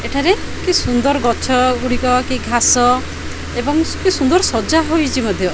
ଏଠାରେ କି ସୁନ୍ଦର ଗଛ ଗୁଡ଼ିକ କି ଘାସ ଏବଂ କି ସୁନ୍ଦର ସଜା ହୋଇଚି ମଧ୍ୟ --